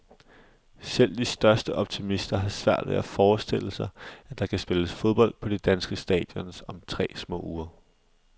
Selv de største optimister har svært ved at forestille sig, at der kan spilles fodbold på de danske stadions om små tre uger.